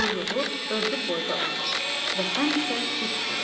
Quyruğu özü boyda olur və həmişə dik durur.